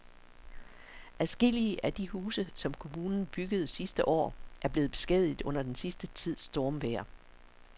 Adskillige af de huse, som kommunen byggede sidste år, er blevet beskadiget under den sidste tids stormvejr.